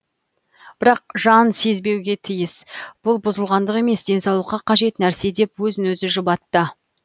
бірақ жан сезбеуге тиіс бүл бұзылғандық емес денсаулыққа қажет нәрсе деп өзін өзі жұбатты